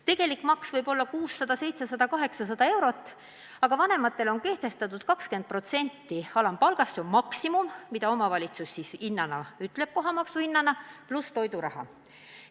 Tegelik maksumus võib olla 600, 700, 800 eurot, aga vanematele on kehtestatud ülempiir 20% alampalgast, see on maksimum, mida omavalitsus võib nõuda kohatasuna, pluss toiduraha.